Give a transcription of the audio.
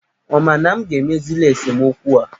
Ọ ma na m ga-emezili esemokwu a?